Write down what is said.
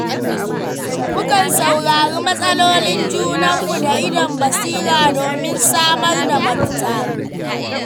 Mukan saurari matsalolin junanmu da idon basira domin samar da mafita.